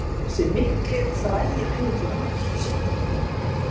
Þessi mikli og frægi ævintýramaður!